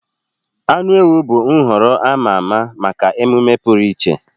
Anụ ewu bụ nhọrọ a ma ama maka mmemme pụrụ iche.